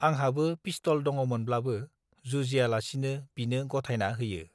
आंहाबो पिस्तल दङमोनब्लाबो जुजियालासिनो बिनो गथायना होयो